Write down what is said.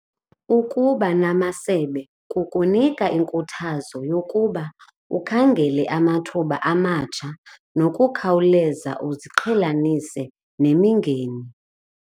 Ukuba namasebe kukunika inkuthazo yokuba ukhangele amathuba amatsha nokukhawuleza uziqhelanise nemingeni.